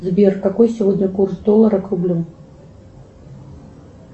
сбер какой сегодня курс доллара к рублю